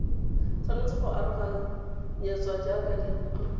tshwanetse go aroganyetswa jaaka dirutwa